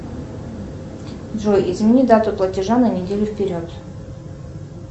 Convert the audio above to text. джой измени дату платежа на неделю вперед